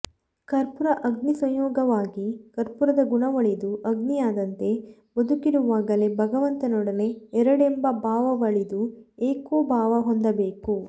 ಕರ್ಪುರ ಅಗ್ನಿಸಂಯೋಗವಾಗಿ ಕರ್ಪೂರದ ಗುಣವಳಿದು ಅಗ್ನಿಯಾದಂತೆ ಬದುಕಿರುವಾಗಲೇ ಭಗವಂತನೊಡನೆ ಎರಡೆಂಬ ಭಾವವಳಿದು ಏಕೋಭಾವ ಹೊಂದಬೇಕು